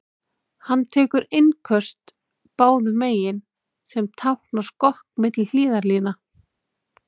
Hann tekur innköst báðum megin, sem táknar skokk milli hliðarlína.